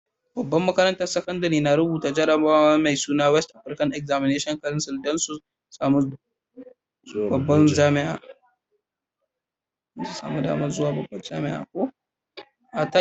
Babban makarantan sakandare na rubuta jarabawa mai suna West African Examination Council dan su samu zuwa babban jami'a.